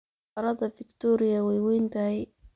Harada Victoria way weyn tahay.